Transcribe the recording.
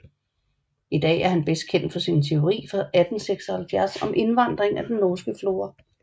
I dag er han bedst kendt for sin teori fra 1876 om indvandring af den norske flora